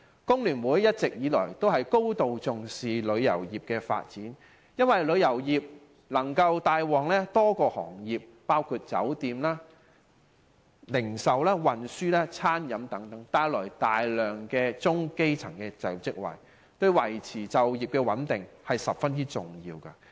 工聯會一直以來都高度重視旅遊業的發展，因為旅遊業能夠帶旺多個行業，包括酒店、零售、運輸及餐飲等，提供大量中、基層的就業職位，對維持港人就業穩定十分重要。